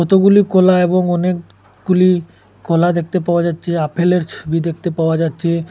এতগুলি কলা এবং অনেক গুলি কলা দেখতে পাওয়া যাচ্ছে আপেলের ছবি দেখতে পাওয়া যাচ্ছে।